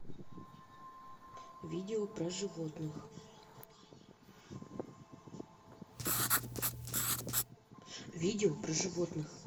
видео про животных видео про животных